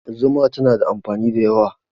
Zuma tana da amfani da yawa.